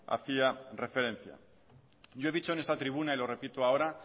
hacía referencia yo he dicho en esta tribuna y lo repito ahora